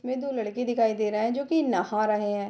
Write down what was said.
इसमें दो लड़के दिखाई दे रहे हैं जो की नहा रहे हैं।